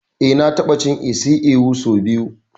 Eh na ta ɓa cin isi ewu sau biyu